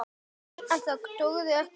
Bara lífið.